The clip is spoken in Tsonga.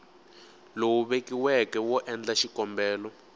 lowu vekiweke wo endla xikombelo